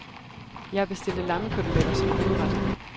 Jeg bestilte lammekoteletter som hovedret.